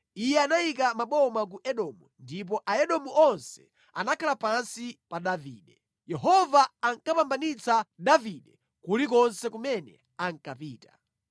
Iye anayika maboma ku Edomu, ndipo Aedomu onse anakhala pansi pa Davide. Yehova ankapambanitsa Davide kulikonse kumene ankapita.